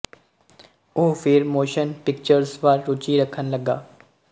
ਉਹ ਫਿਰ motion pictures ਵੱਲ ਰੂਚੀ ਰੱਖਣ ਲੱਗਾ